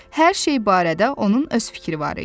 Hər şey barədə onun öz fikri var idi.